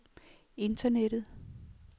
internettet